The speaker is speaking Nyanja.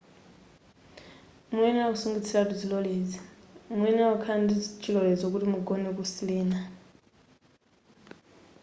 muyenera kusungitsiratu zilolezo muyenera kukhala ndichilolezo kuti mugone ku sirena